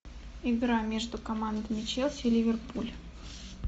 игра между командами челси и ливерпуль